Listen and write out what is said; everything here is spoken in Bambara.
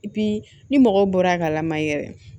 ni mɔgɔw bɔra a ka lamayɛrɛ